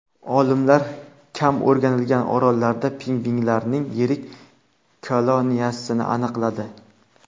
Olimlar kam o‘rganilgan orollarda pingvinlarning yirik koloniyasini aniqladi.